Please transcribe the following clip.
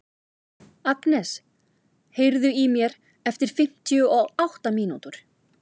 Agnes, heyrðu í mér eftir fimmtíu og átta mínútur.